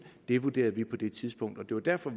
det vurderede vi på det tidspunkt det var derfor